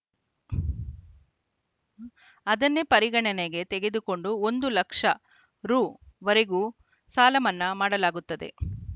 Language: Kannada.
ಅದನ್ನೇ ಪರಿಗಣನೆಗೆ ತೆಗೆದುಕೊಂಡು ಒಂದು ಲಕ್ಷ ರು ವರೆಗಿನ ಸಾಲಮನ್ನಾ ಮಾಡಲಾಗುತ್ತದೆ